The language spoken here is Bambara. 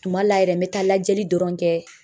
Tuma la yɛrɛ me taa lajɛli dɔrɔn kɛ